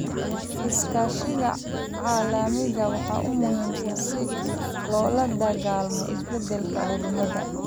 Iskaashiga caalamiga ah waa muhiim si loola dagaallamo isbedelka cimilada.